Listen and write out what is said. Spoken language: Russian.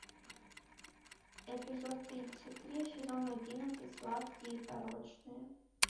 эпизод тридцать три сезон одиннадцать сладкие и порочные